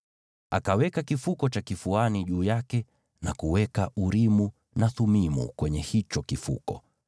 Akaweka kifuko cha kifuani juu yake, na kuweka Urimu na Thumimu kwenye hicho kifuko.